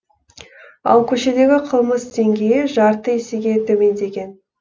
ал көшедегі қылмыс деңгейі жарты есеге төмендеген